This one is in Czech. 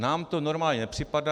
Nám to normální nepřipadá.